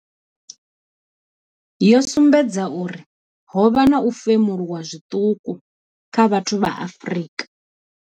yo sumbedza uri ho vha na u femuluwa zwiṱuku kha vhathu vha Afrika.